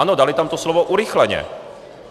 Ano, dali tam to slovo "urychleně".